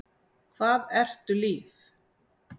Hvað ertu líf?